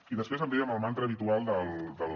i després em ve amb el mantra habitual dels